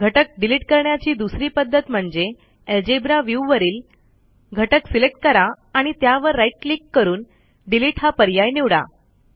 घटक डिलिट करण्याची दुसरी पध्दत म्हणजे अल्जेब्रा व्ह्यू वरील घटक सिलेक्ट करा आणि त्यावर राईट क्लिक करून डिलिट हा पर्याय निवडा